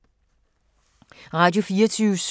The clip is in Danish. Radio24syv